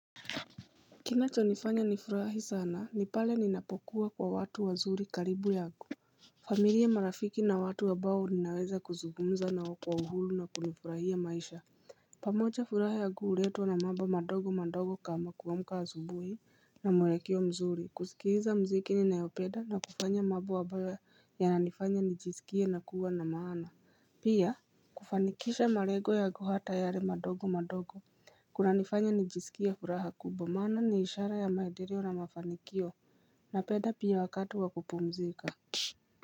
Kinachonifanya nifurahi sana nipale ninapokua kwa watu wazuri karibu yangu familia marafiki na watu ambao ninaweza kuzungumza nao kwa uhuru na kunifurahia maisha pamoja furaha yangu huletwa na mambo madogo madogo kama kuamka asubuhi na mwelekeo mzuri kusikiliza muziki ninayopenda na kufanya mambo ambayo ya nanifanya nijisikie na kuwa na maana Pia kufanikisha malengo yangu hata yale madogo madogo kunanifanya nijisikie furaha kubwa maana ni ishara ya maendeleo na mafanikio napenda pia wakati wa kupumzika.